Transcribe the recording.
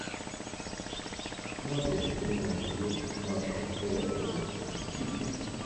смотреть прямой эфир матча эвертона с сити